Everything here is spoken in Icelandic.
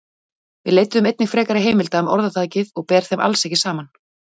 Við leituðum einnig frekari heimilda um orðtækið og ber þeim alls ekki saman.